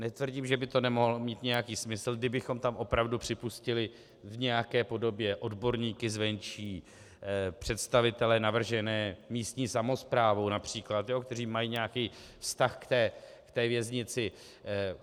Netvrdím, že by to nemohlo mít nějaký smysl, kdybychom tam opravdu připustili v nějaké podobě odborníky zvenčí, představitele navržené místní samosprávou například, kteří mají nějaký vztah k té věznici.